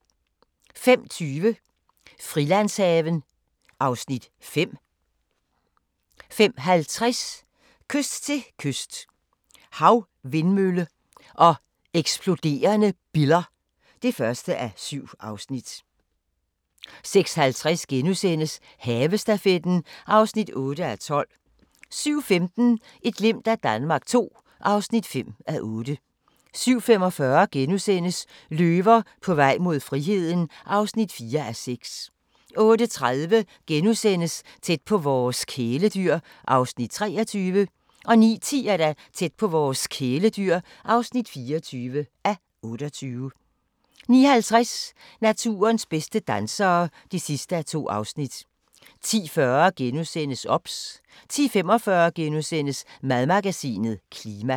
05:20: Frilandshaven (Afs. 5) 05:50: Kyst til kyst – Havvindmøller og eksploderende biller (1:7) 06:50: Havestafetten (8:12)* 07:15: Et glimt af Danmark II (5:8) 07:45: Løver på vej mod friheden (4:6)* 08:30: Tæt på vores kæledyr (23:28)* 09:10: Tæt på vores kæledyr (24:28) 09:50: Naturens bedste dansere (2:2) 10:40: OBS * 10:45: Madmagasinet – Klima *